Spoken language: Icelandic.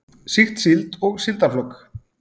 Sýkt síld og síldarflök.